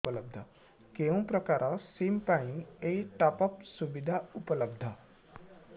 କେଉଁ ପ୍ରକାର ସିମ୍ ପାଇଁ ଏଇ ଟପ୍ଅପ୍ ସୁବିଧା ଉପଲବ୍ଧ